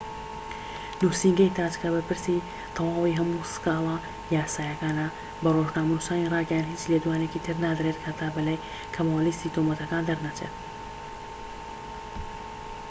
نوسینگەی تاج کە بەرپرسی تەواوەتی هەموو سکاڵا یاساییەکانە بە ڕۆژنامەنوسانی راگەیاند هیچ لێدوانێکی تر نادرێت هەتا بەلای کەمەوە لیستی تۆمەتەکان دەرنەچێت